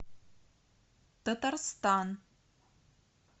татарстан